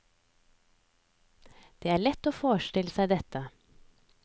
Det er lett å forestille seg dette.